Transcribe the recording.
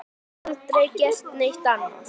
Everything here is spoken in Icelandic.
Aldrei gert neitt annað.